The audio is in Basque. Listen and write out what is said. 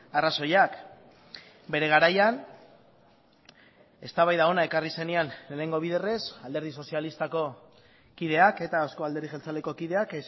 arrazoiak bere garaian eztabaida hona ekarri zenean lehenengo biderrez alderdi sozialistako kideak eta euzko alderdi jeltzaleko kideak